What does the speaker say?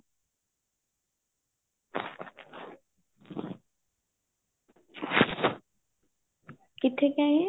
ਕਿੱਥੇ ਕ ਏ ਇਹ